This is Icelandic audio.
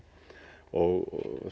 og